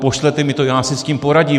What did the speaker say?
Pošlete mi to, já si s tím poradím.